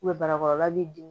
barakɔrɔla b'i dimi